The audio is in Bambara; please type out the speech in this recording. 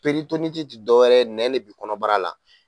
ti dɔwɛrɛ ye nɛn ne bi kɔnɔbara la